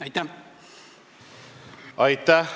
Aitäh!